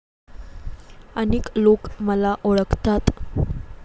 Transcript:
अनेक लोक मला ओळखतात.